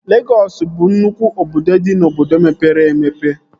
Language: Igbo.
Legọs bụ nnụkwụ obodo dị n'obodo mepere emepe